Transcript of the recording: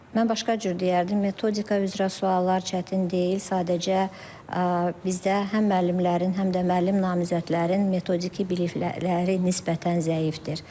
Mən başqa cür deyərdim, metodika üzrə suallar çətin deyil, sadəcə bizdə həm müəllimlərin, həm də müəllim namizədlərin metodiki bilikləri nisbətən zəifdir.